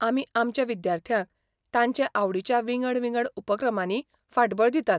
आमी आमच्या विद्यार्थ्यांक तांचे आवडीच्या विंगड विंगड उपक्रमांनी फाटबळ दितात.